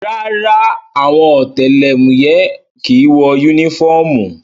Rárá o, àwọn ọ̀tẹlẹ̀múyẹ́ kìí wọ yúnífọ́ọ̀mù